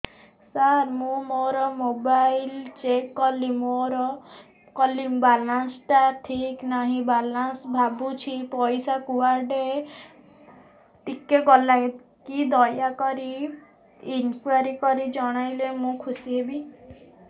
ସାର ମୁଁ ମୋର mobile check କଲି ବାଲାନ୍ସ ଟା ଠିକ ନାହିଁ ବୋଲି ଭାବୁଛି ପଇସା କୁଆଡେ କଟି ଗଲା କି ଦୟାକରି ଇନକ୍ୱାରି କରି ଜଣାଇଲେ ମୁଁ ଖୁସି ହେବି